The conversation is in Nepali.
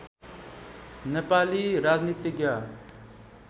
नेपाली राजनीतिज्ञ